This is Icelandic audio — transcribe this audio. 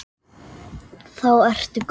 Og hvað gera bændur núna?